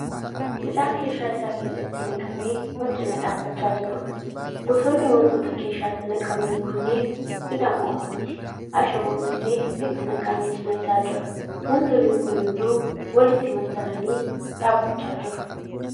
Midhaan keeshaa isaa keessatti naqamee wal cina dhaabbachaa jiruudha. Gosoonni wantoota keeshaatti naqamanii kunneen midhaan qofa miti, ashaboon illee itti naqamee cina isaa jira. Wantoonni kun hunduu walitti maxxananii dhaabbachaa jiru.